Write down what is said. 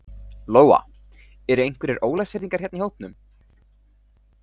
Lóa: Eru einhverjir Ólafsfirðingar hérna í hópnum?